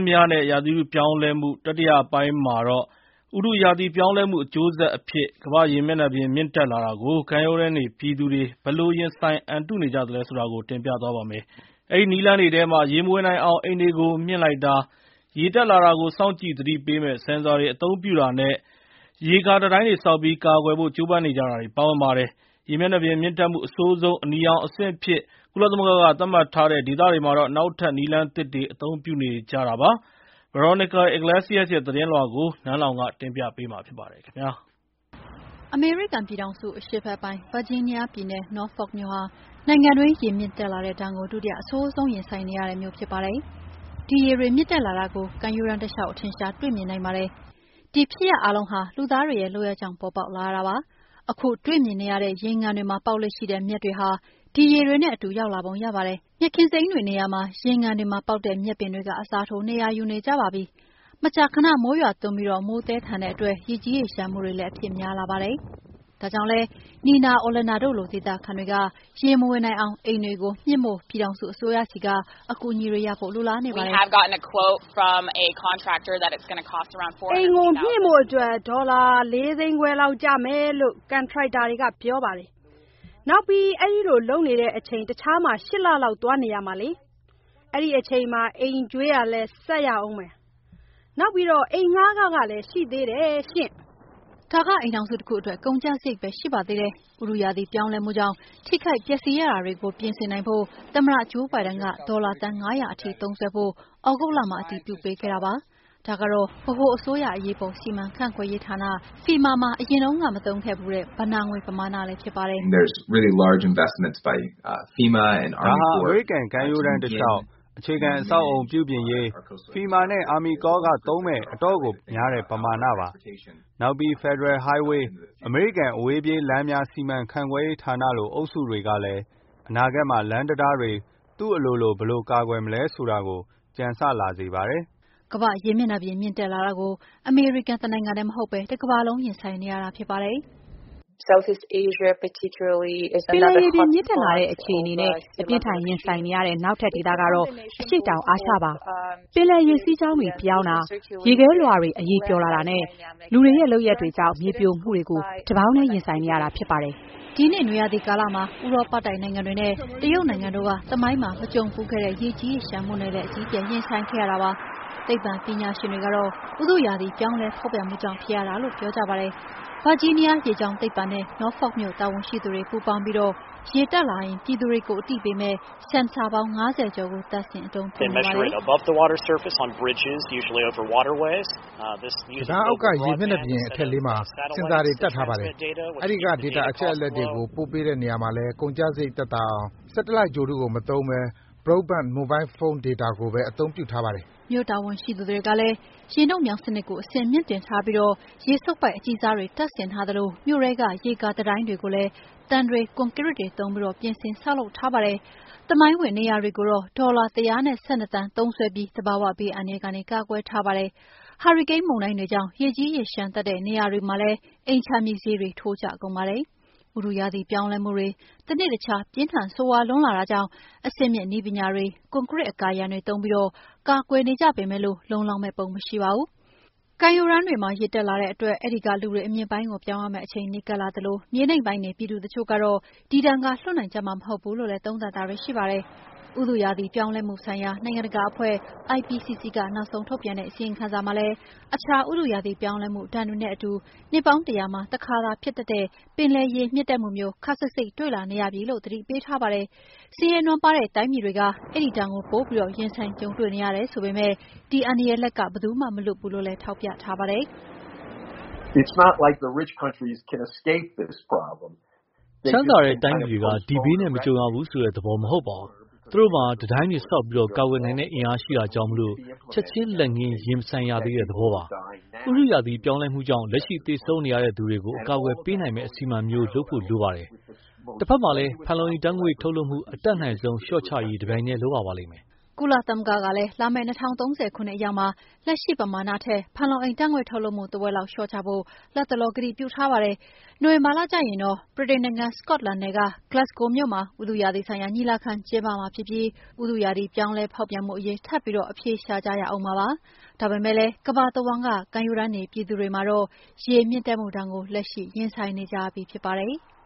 များနဲ့ ဥတုရာသီပြောင်းလဲမှု တတိယအပိုင်းမှာတော့ ဥတုရာသီပြောင်းလဲမှု အကျိုးဆက်အဖြစ် ကမ္ဘာ့ရေမျက်နှာပြင် မြင့်တက်လာတာကို ကမ်းရိုးတန်းနေပြည်သူတွေ ဘယ်လိုရင်ဆိုင် အံတုနေကြသလဲဆိုတာ တင်ပြသွားပါမယ်။ အဲဒီနည်းလမ်းတွေထဲမှာ ရေမဝင်နိုင်အောင် အိမ်တွေကို မြှင့်လိုက်တာ၊ ရေတက်လာတာကို စောင့်ကြည့် သတိပေးမယ့် ဆင်ဆာတွေ အသုံးပြုတာနဲ့ ရေကာတံတိုင်းတွေဆောက်ပြီး ကာကွယ်ဖို့ ကြိုးပမ်းနေကြတာတွေ ပါဝင်ပါတယ်။ ရေမျက်နှာပြင်မြင့်တက်မှု အဆိုးဆုံး အနီရောင်အဆင့်အဖြစ် ကုလသမဂ္ဂက သတ်မှတ်ထားတဲ့ ဒေသတွေမှာတော့ နောက်ထပ် နည်းလမ်းသစ်တွေပါ အသုံးပြုနေကြတာပါ။ Veronica Balderas Iglesias ရဲ့ သတင်းလွှာကို နန်းလောင်ဝ်က တင်ပြထားပါတယ်။ အမေရိကန်ပြည်ထောင်စု၊ အရှေ့ဘက်ပိုင်း ဗာဂျီးနီးယားပြည်နယ်၊ Norfolk မြို့ဟာ နိုင်ငံတွင်း ရေမြင့်တက်လာတဲ့ဒဏ်ကို ဒုတိယအဆိုးဆုံး ကြုံနေရတဲ့ ကမ်းခြေမြို့ ဖြစ်ပါတယ်။ ဒီရေတွေ မြင့်တက်လာတာကို ကမ်းရိုးတန်းတလျှောက် အထင်အရှား တွေ့မြင်နိုင်ပါတယ်။ ဒီဖြစ်ရပ်အားလုံးဟာ လူသားတွေရဲ့ လုပ်ရပ်ကြောင့် ပေါ်ပေါက်လာရတာပါ။ ခုတွေ့မြင်နေရတဲ့ ရေငန်တွေမှာ ပေါက်လေ့ရှိတဲ့ မြက်တွေဟာ ဒီရေတွေနဲ့အတူ ရောက်လာပုံရပါတယ်။ မြက်ခင်းတွေနေရာမှာ ရေငန်မြက်ပင်တွေ အစားထိုး နေရာယူနေကြပါပြီ။ မကြာခဏ မိုးရွာသွန်းပြီး မိုးသည်းထန်တဲ့အတွက် ရေကြီးရေလျှံမှုတွေလည်း အဖြစ်များလာပါတယ်။ ဒါကြောင့်လည်း Nina Olander တို့လို ဒေသခံတွေက ရေမဝင်နိုင်အောင် အိမ်တွေကို မြှင့်ဖို့ ပြည်ထောင်စုအစိုးရဆီက အကူအညီတွေ လိုလားနေပါတယ်။ “အိမ်ကို မြှင့်ဖို့အတွက် ဒေါ်လာ ၄ သိန်းခွဲလောက်ကျမယ်လို့ ကန်ထရိုက်တာတွေက ပြောပါတယ်။ နောက်ပြီး အဲဒီလို လုပ်နေတဲ့အချိန် တခြားမှာ ၈ လလောက် သွားနေရမှာလေ။ အဲဒီအချိန်မှာ အိမ်ကြွေးလည်း ဆက်ပြီးဆပ်ရမယ်၊ နောက်ပြီး အိမ်ငှားခကလည်း ရှိသေးတယ်ရှင့်။” ဒါက အိမ်ထောင်စုတခုအတွက် ကုန်ကျစရိတ်ပဲ ရှိပါသေးတယ်။ ဥတုရာသီ ပြောင်းလဲမှုကြောင့် ထိခိုက်ပျက်စီးရတာတွေကို ပြင်ဆင်နိုင်ဖို့ သမ္မတ ဂျိုးဘိုင်ဒန်က ဒေါ်လာသန်း ၅၀၀ ထိ သုံးစွဲဖို့ သြဂုတ်လမှာ အတည်ပြုပေးခဲ့ပါတယ်။ ဒါကတော့ ဗဟိုအစိုးရ အရေးပေါ် စီမံခန့်ခွဲရေးဌာန FEMA မှာ အရင်တုန်းက မရှိခဲ့ဘူးတဲ့ ဘဏ္ဍာငွေပမာဏလည်း ဖြစ်ပါတယ်။ “ဒါဟာ အမေရိကန် ကမ်းရိုးတန်းတလျှောက် အခြေခံအဆောက်အအုံပြုပြင်ရေး FEMA နဲ့ Army Corps ကသုံးမယ့် အတော့်ကိုများတဲ့ ပမာဏပါ။ နောက်ပြီး Federal Highway အမေရိကန် အဝေးပြေးလမ်းများ စီမံခန့်ခွဲရေးဌာနလို အုပ်စုတွေကလည်း အနာဂတ်မှာ လမ်းတံတားတွေ သူ့အလိုလို ဘယ်လိုကာကွယ်မလဲဆိုတာ ကြံဆလာစေပါတယ်။” ကမ္ဘာ့ရေမျက်နှာပြင် မြင့်တက်လာတာကို အမေရိကန်တနိုင်ငံတည်း မဟုတ်ဘဲ တကမ္ဘာလုံး ရင်ဆိုင်နေရတာ ဖြစ်ပါတယ်။ “ပင်လယ်ရေပြင် မြင့်တက်လာတဲ့ အခြေအနေနဲ့ အပြင်းအထန် ရင်ဆိုင်နေရတဲ့ နောက်ထပ်ဒေသကတော့ အရှေ့တောင်အာရှပါ။ ပင်လယ်ရေစီးကြောင်းတွေ ပြောင်းတာ၊ ရေခဲလွှာတွေ အရည်ပျော်လာတာနဲ့ လူ့လုပ်ရပ်တွေကြောင့် မြေပြိုမှုတွေကို တပေါင်းတည်း ရင်ဆိုင်နေရတာ ဖြစ်ပါတယ်။” ဒီနှစ် နွေရာသီကာလမှာ ဥရောပတိုက်နိုင်ငံတွေနဲ့ တရုတ်နိုင်ငံတို့က သမိုင်းမှာ မကြုံဘူးခဲ့တဲ့ ရေကြီးရေလျှံမှုနဲ့လည်း အကြီးအကျယ် ရင်ဆိုင်ခဲ့ရပါတယ်။ သိပ္ပံပညာရှင်တွေကတာ့ ဥတုရာသီ ပြောင်းလဲဖောက်ပြန်မှုကြောင့် ဖြစ်ရတာလို့ ပြောကြပါတယ်။ ဗာဂျီးနီးယား ရေကြောင်းသိပ္ပံနဲ့ Norfolk မြို့ တာဝန်ရှိသူတွေ ပူးပေါင်းပြီး ရေတက်လာရင် ပြည်သူတွေကို သတိပေးမယ့် ဆင်ဆာပေါင်း ၅၀ ကျော်ကို တပ်ဆင် အသုံးပြုနေပါတယ်။ "တံတားအောက်က ရေမျက်နှာပြင် အထက်လေးမှာ ဆင်ဆာတွေ တပ်ထားပါတယ်။ အဲဒီက ဒေတာအချက်အလက်တွေကို ပို့ပေးတဲ့နေရာမှာလည်း ကုန်ကျစရိတ်သက်သာအောင် ဆက်တလိုက်ဂြိုဟ်တုကို မသုံးဘဲ Broadband မိုဘိုင်းဖုန်းဒေတာကိုပဲ အသုံးပြုထားပါတယ်။" မြို့တာဝန်ရှိသူတွေကလည်း ရေနုတ်မြောင်းစနစ်ကို အဆင့်မြှင့်တင်ထားပြီး ရေစုပ်ပိုက် အကြီးစားတွေ တပ်ဆင်ထားသလို မြို့ထဲက ရေကာတံတိုင်းတွေကိုလည်း သံတွေ ကွန်ကရစ်တွေသုံးပြီး ပြင်ဆင်ဆောက်လုပ်ထားတာပါ။ သမိုင်းဝင်နေရာတွေကိုတော့ ဒေါ်လာ ၁၁၂ သန်းသုံးစွဲပြီး သဘာဝဘေးအန္တရာယ်ကနေ ကာကွယ်ထားပါတယ်။ ဟာရီကိန်းမုန်တိုင်းတွေကြောင့် ရေကြီးရေလျှံတတ်တဲ့နေရာက အိမ်ခြံမြေဈေးတွေလည်း ထိုးကျကုန်ပါတယ်။ ဥတုရာသီ ပြောင်းလဲမှုတွေ တနေ့တခြား ပြင်းထန်ဆိုးရွားလွန်းလာတာကြောင့် အဆင့်မြင့်နည်းပညာတွေ၊ ကွနကရစ် အကာအရံတွေ သုံးပြီး ကာကွယ်နေကြေပေမယ့် လုံလောက်မယ့်ပုံ မရှိပါဘူး။ ကမ်းရိုးတန်းတွေမှာ ရေတက်လာတဲ့အတွက် အဲဒီကလေူတွေ အမြင့်ပိုင်းကို ပြောင်းရမယ့်အချိန် နီးကပ်လာသလို မြေနိမ့်ပိုင်းနေ ပြည်သူတချို့တော့ ဒီဒဏ်က လွတ်နိုင်ကြမှာ မဟုတ်ဘူးလို့လည်း သုံးသပ်တာတွေ ရှိပါတယ်။ ဥတုရာသီ ပြောင်းလဲမှှုဆိုင်ရာ နိုင်ငံတကာအဖွဲ့ IPCC က နောက်ဆုံးထုတ်ပြန်တဲ့ အစီရင်ခံံစာမှာလည်း အခြား ဥတုရာသီ ပြောင်းလဲမှုဒဏ်တွေနဲ့အတူ နှစ်ပေါင်း ၁၀၀ မှာ တခါဖြစ်တတ်တဲ့ ပင်လယ်ရေပြင်မြင့်တက်မှုမျိုး ခပ်စိပ်စိပ်တွေ့လာနေရပြီလို့ သတိပေးထားပါတယ်။ ဆင်းရဲနွမ်းပါးတဲ့ တိုင်းပြည်တွေက အဲဒီဒဏ်ကို ပိုပြီး ရင်ဆိုင်ကြုံတွေ့နေရတယ် ဆိုပေမယ့် ဒီအန္တရာယ်လက်က ဘယ်သူမှ မလွတ်ဘူးလို့လည်း ထောက်ပြထားပါတယ်။ "ချမ်းသာတဲ့တိုင်းပြည်တွေက ဒီဘေးနဲ့ မကြုံရဘူးဆိုတဲ့သဘော မဟုတ်ပါဘူး။ သူတို့မှာ တံတိုင်းတွေဆောက်ပြီး ကာကွယ်နိုင်တဲ့အင်အား ရှိတာကြောင့် ချက်ချင်းလက်ငင်း ရင်မဆိုင်ရသေးတဲ့ သဘောပါ။ ဥတုရာသီ ပြောင်းလဲမှုကြောင့် လက်ရှိ သေဆုံးနေရတဲ့သူတွေကို အကာအကွယ်ပေးနိုင်မယ့် အစီအမံမျိုးလုပ်ဖို့ လိုပါတယ်။ တဖက်မှာလည်း ဖန်လုံအိမ်ဓာတ်ငွေ့ ထုတ်လွှတ်မှု အတတ်နိုင်ဆုံး လျှော့ချရေး တပြိုင်တည်း လုပ်ရပါလိမ့်မယ်။” ကုလသမဂ္ဂကလည်း လာမယ့် ၂၀၃၀ ခုနှစ်အရောက်မှာ လက်ရှိပမာဏထက် ဖန်လုံအိမ်ဓာတ်ငွေ့ ထုတ်လွှတ်မှု တဝက်လောက်လျှော့ချဖို့ လတ်တလော ကတိပြုထားပါတယ်။ နိုဝင်ဘာလကျရင်တော့ ဗြိတိန်နိုင်ငံ စကော့တလန်နယ်က Glasgow မြို့မှာ ဥတုရာသီဆိုင်ရာ ညီလာခံ ကျင်းပမှာဖြစ်ပြီး ဥတုရာသီ ပြောင်းလဲဖောက်ပြန်မှုအရေး ထပ်ပြီး အဖြေရှာကြဦးမှာ ဖြစ်ပါတယ်။ ဒါပေမယ့်လည်း ကမ္ဘာတဝန်းက ကမ်းရိုးတန်းနေ ပြည်သူတွေမှာတော့ ရေမြင့်တက်မှုဒဏ်ကို လက်ရှိ ရင်ဆိုင်နေကြရပြီ ဖြစ်ပါတယ်။